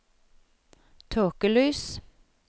tåkelys